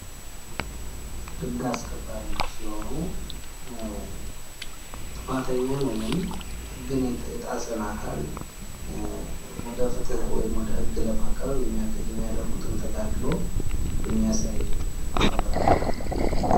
ህግ አስከባሪዎች ሲሆኑ ጥፋተኛ የሆነ፣ ህግን የጣሰን አካል ወደ ፍትህ ወይም ወደ ህግ ለማቅረብ የሚያድርጉትን ተጋድሎ የሚያሳይ ፎቶግራፍ ነው።